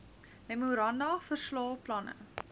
memoranda verslae planne